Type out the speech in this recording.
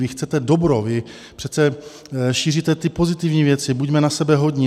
Vy chcete dobro, vy přece šíříte ty pozitivní věci: buďme na sebe hodní.